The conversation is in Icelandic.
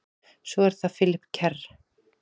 Svo er það Philip Kerr.